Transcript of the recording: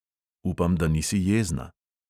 Upam, da nisi jezna.